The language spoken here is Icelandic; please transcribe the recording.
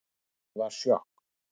Það var sjokk